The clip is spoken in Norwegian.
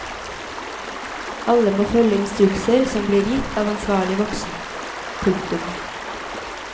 Alle må følge instrukser som blir gitt av ansvarlig voksen. punktum